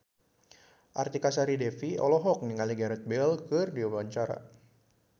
Artika Sari Devi olohok ningali Gareth Bale keur diwawancara